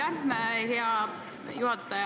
Aitäh, hea juhataja!